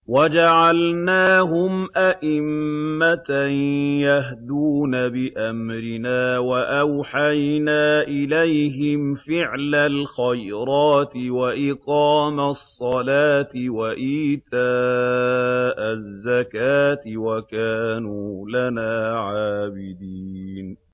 وَجَعَلْنَاهُمْ أَئِمَّةً يَهْدُونَ بِأَمْرِنَا وَأَوْحَيْنَا إِلَيْهِمْ فِعْلَ الْخَيْرَاتِ وَإِقَامَ الصَّلَاةِ وَإِيتَاءَ الزَّكَاةِ ۖ وَكَانُوا لَنَا عَابِدِينَ